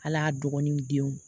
Ala dɔgɔninw denw